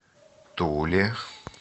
туле